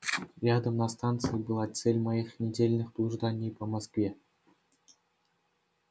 рядом на станции была цель моих недельных блужданий по москве